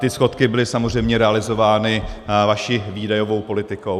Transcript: Ty schodky byly samozřejmě realizovány vaší výdajovou politikou.